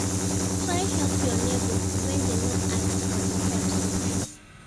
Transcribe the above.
Try help your neighbors when dem no ask for di help sometimes